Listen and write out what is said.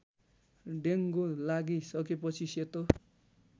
dengue लागिसकेपछि सेतो